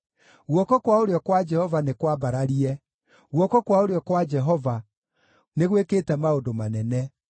Guoko kwa ũrĩo kwa Jehova nĩ kwambararie; guoko kwa ũrĩo kwa Jehova nĩ gwĩkĩte maũndũ manene!”